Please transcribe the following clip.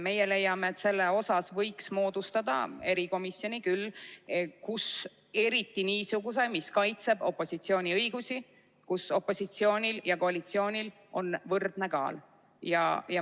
Meie leiame, et selleks võiks küll moodustada erikomisjoni, eriti niisuguse, mis kaitseb opositsiooni õigusi ning kus opositsioonil ja koalitsioonil on võrdne kaal.